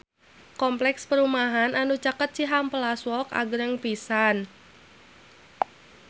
Kompleks perumahan anu caket Cihampelas Walk agreng pisan